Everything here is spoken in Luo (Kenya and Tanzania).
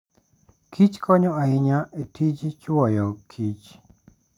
Kich konyo ahinya e tij chwoyo Kich.